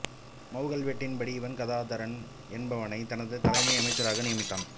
மவூ கல்வெட்டின்படி இவன் கதாதரன் என்பவனை தனது தலைமை அமைச்சராக நியமித்தான்